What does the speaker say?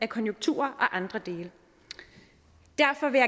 konjunkturer og andre dele derfor vil